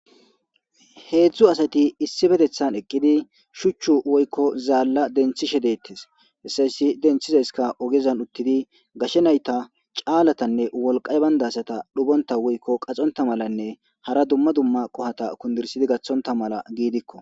Heedzdzu asati issipetethan eqqidi shuchchu woykko zaalla denththishe deetes hessa hessi denthizayska ogezan uttidi gashe nayta caalatanne wolqqay baynda asata nubonta woykko qaxonta malanne hara dumma dumma qohata kundirssidi gaththonta mala giidikko.